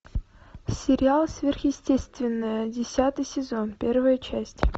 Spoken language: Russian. сериал сверхъестественное десятый сезон первая часть